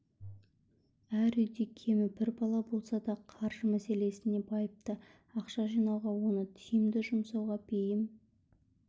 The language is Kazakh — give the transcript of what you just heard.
әр үйде кемі бір бала болса да қаржы мәселесіне байыпты ақша жинауға оны тиімді жұмсауға бейім